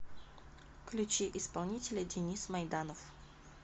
включи исполнителя денис майданов